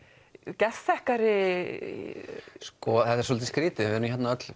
geðþekkari þetta er svolítið skrítið við erum hérna öll